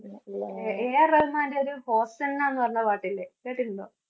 AAR റഹ്മാന്റെ ഒരു Hosanna എന്നുപറഞ്ഞ പാട്ടില്ലേ? കേട്ടിട്ടുണ്ടോ?